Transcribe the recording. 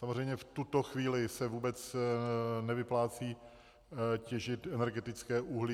Samozřejmě v tuto chvíli se vůbec nevyplácí těžit energetické uhlí.